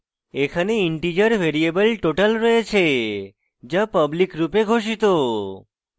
এখানে integer variable total রয়েছে যা public রূপে ঘোষিত